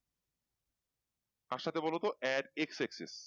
কার সাথে বলো তো add x x